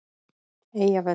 Eyjavöllum